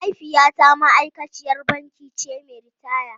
Mahaifiyata ma’aikaciyar banki ce mai ritaya.